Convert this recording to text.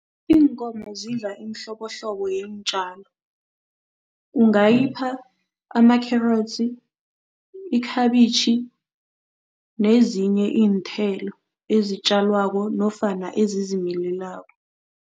Iinkomo zidla imihlobohlobo yeentjalo. Ungayipha amakherotsi, ikhabitjhi nezinye iinthelo ezitjalwako nofana ezizimilelako.